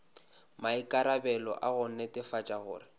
maikarabelo a go netefatša gore